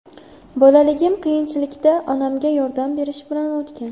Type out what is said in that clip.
Bolaligim qiyinchilikda, onamga yordam berish bilan o‘tgan.